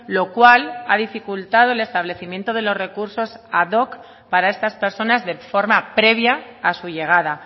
lo cual ha dificultado el establecimiento de los recursos ad hoc para estas personas de forma previa a su llegada